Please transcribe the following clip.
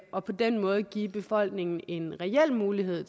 og på den måde give befolkningen en reel mulighed